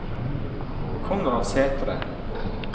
Konrad Sæthre